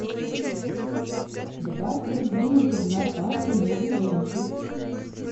добавь в корзину зубная паста новый жемчуг